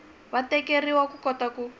wa tikeriwa ku kota ku